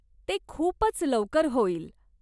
ते खूपच लवकर होईल.